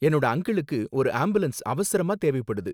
என்னோட அங்கிளுக்கு ஒரு ஆம்புலன்ஸ் அவசரமா தேவைப்படுது.